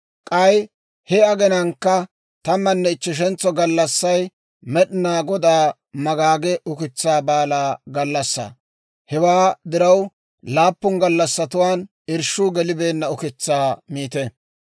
« ‹K'ay he aginankka tammanne ichcheshentso gallassay Med'inaa Godaa magaage Ukitsaa Baalaa gallassaa; hewaa diraw laappun gallassatuwaan irshshuu gelibeenna ukitsaa miite.